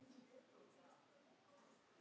Rauð Spjöld: Engin.